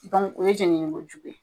o ye jenini ko jugu ye.